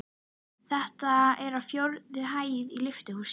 Þetta er á fjórðu hæð í lyftuhúsi.